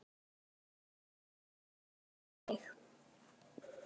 spurði Sóley Björk mig.